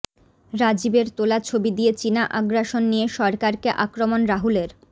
রাজীবের তোলা ছবি দিয়ে চিনা আগ্রাসন নিয়ে সরকারকে আক্রমণ রাহুলের